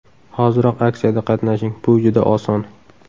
Hoziroq aksiyada qatnashing: Bu juda oson!